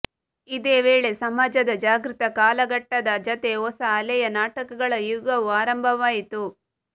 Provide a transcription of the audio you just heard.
ಇದೇ ವೇಳೆ ಸಮಾಜದ ಜಾಗೃತ ಕಾಲಘಟ್ಟದ ಜತೆ ಹೊಸ ಅಲೆಯ ನಾಟಕಗಳ ಯುಗವೂ ಆರಂಭವಾಯಿತು